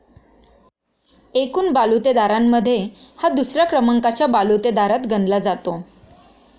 एकूण बालुतेदारारांमध्ये हा दुसऱ्या क्रमांकाच्या बालुतेदारात गणला जातो.